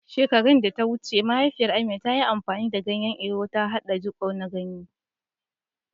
Shekaru da suka wuce, mahaifiyar Amina, ta yi amfani da ganyen Ewe, ta haɗa jiko na ganye.